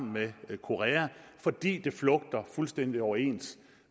med sydkorea fordi det flugter fuldstændig overens